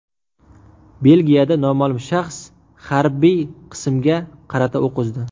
Belgiyada noma’lum shaxs harbiy qismga qarata o‘q uzdi.